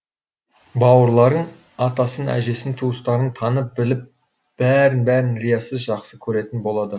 бауырларын атасын әжесін туыстарын танып біліп бәрін бәрін риясыз жақсы көретін болады